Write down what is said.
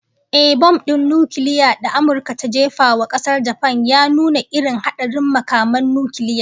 Ehh, bom din nukiliya da Amurka ta jefa wa kasar Japan ya nuna irin hadarin makaman nukiliya